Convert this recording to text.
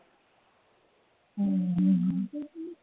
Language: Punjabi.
ਹਮ